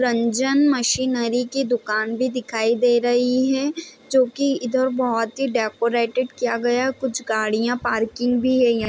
Ranjan machinery की दुकान भी दिखाई दे रही है जो की इधर बहुत ही डेकोरेटेड किया गया है | कुछ गाड़ियां पार्किंग भी है य --